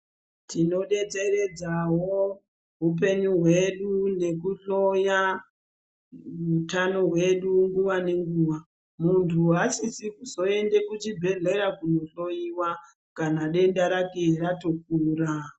Tinodetseredzawo hupenyu hwedu nekudhloya hutano hwedu nguwa nenguwa muntu asisi kuzoende kuzvibhedhleya kudhloyiwa kana denda rake yatokura